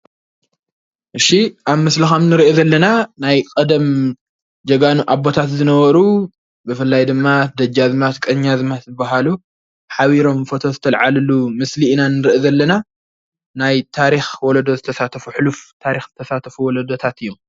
እሺ ኣብ ምስሊ ካብ እንርእዮ ዘለና ናይ ቀደም ጀጋኑ ኣቦታት ዝነበሩ ብፍላይ ድማ ደጃዝማች ቀናዝማች ዝበሃሉ ሓቢሮም ፎቶ ዝተለዓልሉ ምስሊ ኢና ንርኢ ዘለና ናይ ታሪክ ወለዶ ዝተሳተፉ ሕሉፍ ታሪክ ዝተሳተፉ ወለዶታት እዮም።